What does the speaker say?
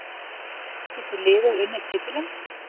Getur liðið unnið titilinn?